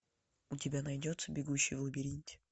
у тебя найдется бегущий в лабиринте